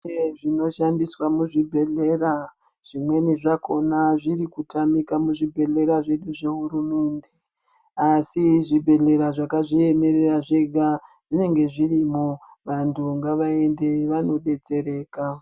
Zvidziyo zvinoshandiswa muzvibhedhlera zvimweni zvakona zviri kutamika muzvibhedhlera zvedu asi zvibhedhlera zvakazviemerera zvega zvinenge zvirimo vantu ngavaende vanodetsereka.